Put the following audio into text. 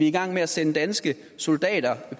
i gang med at sende danske soldater